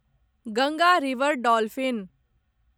Ganga river dolphin